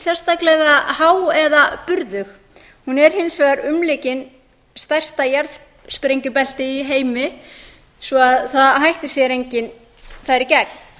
sérstaklega há eða burðug hún er hins vegar umlukin stærsta jarðsprengjubelti í heimi svo að það hættir sér enginn þar í gegn